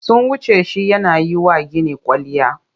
Sun wuce shi yana yi wa gini kwalliya.